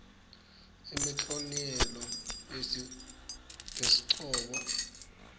imiklonielo yasehcobo